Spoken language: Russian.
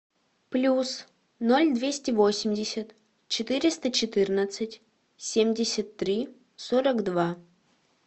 плюс ноль двести восемьдесят четыреста четырнадцать семьдесят три сорок два